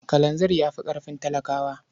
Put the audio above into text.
Kalanzir ya fi ƙarfin talaka.